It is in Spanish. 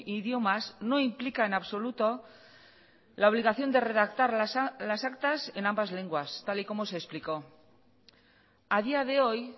idiomas no implica en absoluto la obligación de redactar las actas en ambas lenguas tal y como se explicó a día de hoy